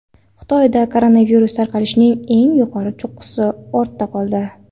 Xitoyda koronavirus tarqalishining eng yuqori cho‘qqisi ortda qoldi.